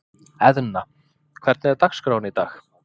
Eðna, hvernig er dagskráin í dag?